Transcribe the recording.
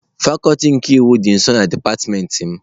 Fakuti nke iwu dị nso na dipatịmentị m.